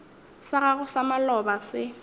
sa gago sa maloba se